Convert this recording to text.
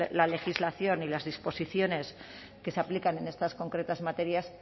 la legislación y las disposiciones que se aplican en estas concretas materias